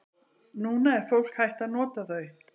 Núna er fólk hætt að nota þau.